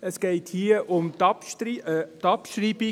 Es geht um die Abschreibung.